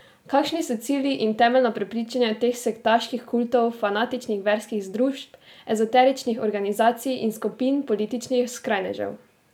Kakšni so cilji in temeljna prepričanja teh sektaških kultov, fanatičnih verskih združb, ezoteričnih organizacij in skupin političnih skrajnežev?